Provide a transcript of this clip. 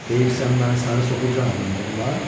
Deyirsən məni sarı soxulcan adlandırırlar?